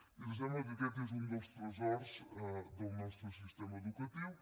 i ens sembla que aquest és un dels tresors del nostre sistema educatiu